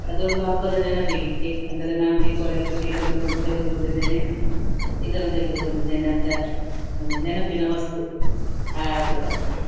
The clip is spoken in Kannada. ಅದೊಂದು ಹಬ್ಬದ ನೆನಪಿಗೆ ಅಂದರೆ ನಾನು ದೀಪಾವಳಿ ಹಬ್ಬಕ್ಕೆ ಇದನ್ನು ಕೊಂ~ ತೆಗೆದುಕೊಂಡಿದ್ದೇನೆ ಇದನ್ನು ತೆಗೆದುಕೊಂಡಿದ್ದೇನೆ ಅಂತ ಆ ನೆನಪಿನ ವಸ್ತು ಆ ಹಬ್ಬದ.